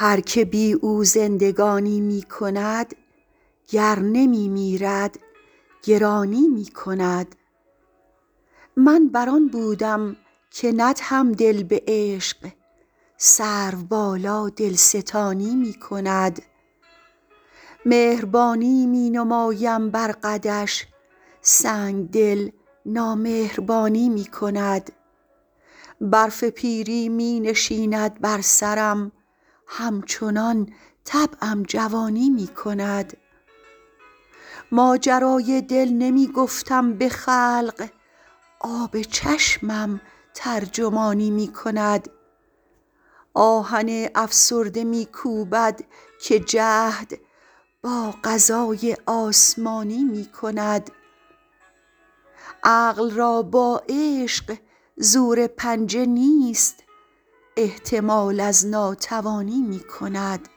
هر که بی او زندگانی می کند گر نمی میرد گرانی می کند من بر آن بودم که ندهم دل به عشق سروبالا دلستانی می کند مهربانی می نمایم بر قدش سنگدل نامهربانی می کند برف پیری می نشیند بر سرم همچنان طبعم جوانی می کند ماجرای دل نمی گفتم به خلق آب چشمم ترجمانی می کند آهن افسرده می کوبد که جهد با قضای آسمانی می کند عقل را با عشق زور پنجه نیست احتمال از ناتوانی می کند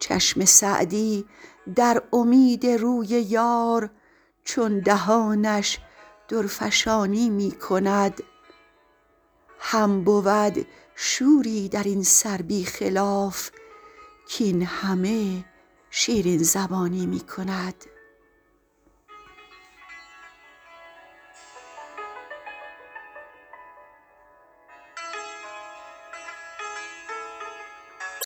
چشم سعدی در امید روی یار چون دهانش درفشانی می کند هم بود شوری در این سر بی خلاف کاین همه شیرین زبانی می کند